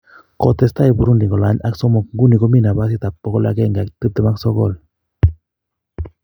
kotesta Burundi kolany ak somok nguni komi napasit ap 129